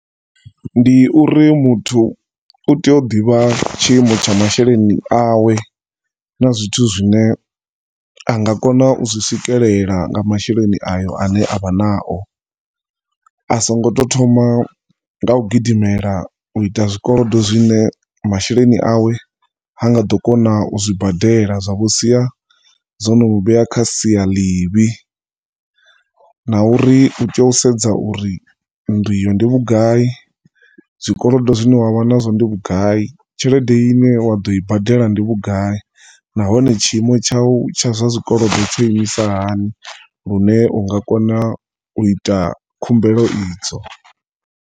Ndi uri muthu u tea u ḓivha tshiimo tsha masheleni awe na zwithu zwine anga kona uzwi swikelela nga masheleni ayo ane avha nao asongoto thoma nga u gidimela uita zwikolodo zwine masheleni awe hanga ḓo kona uzwi badela zwa vho sia zwono u vhea kha sia ḽivhi na uri u tea u sedza uri ndi vhugai zwikolodo zwine wavha nazwo ndi vhugai, tshelede ine wa ḓo i badela ndi vhugai na hone tshiimo tshau tsha zwa zwikolodo tsho isima hani, lune unga kona u ita khumbelo idzo.